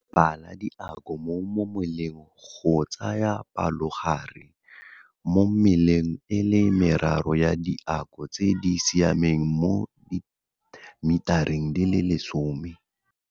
Bala diako mo moleng go tsaya palogare mo meleng e le meraro ya diako tse di siameng mo dimetareng di le lesome.